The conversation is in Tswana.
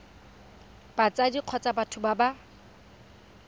batsadi kgotsa batho ba ba